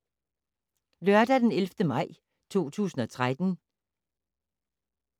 Lørdag d. 11. maj 2013